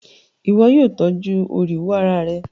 Ìwo yio tọ́jú oríwó ara rẹ